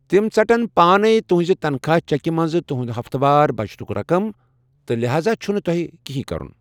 تِم ژَٹن پانَے تُہٕنٛزِ تنخواہ چیٚکہِ منٛزٕ تُہٕنٛدِ ہفتہٕ وار بچتُک رقم تہِ ، لحاظا چُھنہٕ تۄہہہِ یہِ كرٗن ۔